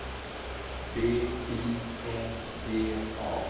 B I N D A